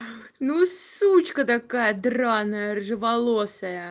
ну сучка такая драная рыжеволосая